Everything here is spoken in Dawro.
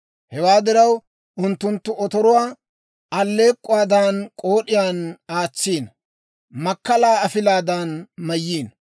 Hewaa diraw, unttunttu otoruwaa, alleek'k'uwaadan k'ood'iyaan aatsiino; makkalaa afilaadan mayiino.